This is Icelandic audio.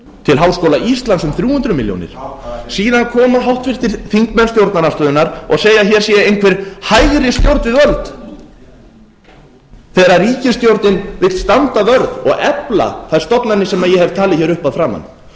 til háskóla íslands um þrjú hundruð milljónir síðan koma háttvirtir þingmenn stjórnarandstöðunnar og segja að hér sé einhver hægri stjórn við völd þegar ríkisstjórnin vill standa vörð og efla þær stofnanir sem ég hef talið hér upp að